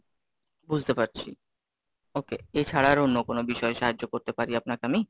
বুঝতে পারছি, okay, এছাড়া আর অন্য কোন বিষয়ে সাহায্য করতে পারি আপনাকে আমি?